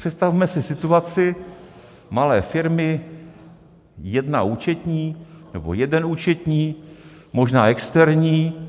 Představme si situaci malé firmy, jedna účetní nebo jeden účetní, možná externí,